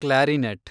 clarinet